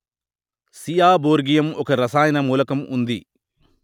seaborgium ఒక రసాయన మూలకం ఉంది